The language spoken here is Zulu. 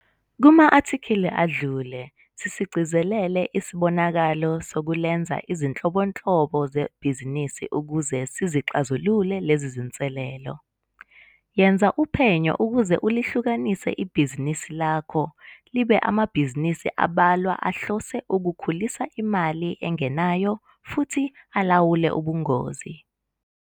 Kuma athikhili adlule sisigcizelele isibonakalo sokulenza izinhlobonhlo zebhizinisi ukuze sizixazulule lezi zinselelo. Yenza uphenyo ukuze ulihlukanise ibhizibisi lakho libe amabhizinisi abalwa ahlose ukukhulisa imali engenayo futhi ulawule ubungozi.